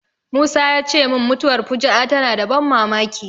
Musa ya ce min mutuwar fuju'a tana da ban mamaki.